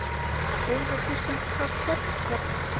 Segðu mér Kristján, hvað gerðist hérna?